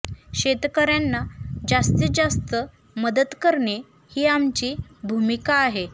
शेतकऱ्यांना जास्तीत जास्त मदत करणे ही आमची भूमिका आहे